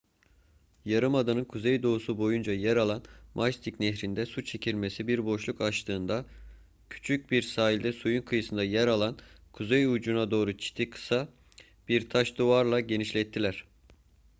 yarımadanın kuzeydoğusu boyunca yer alan mystic nehrinde su çekilmesi bir boşluk açtığında küçük bir sahilde suyun kıyısında yer alan kuzey ucuna doğru çiti kısa bir taş duvarla genişlettiler